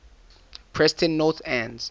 preston north end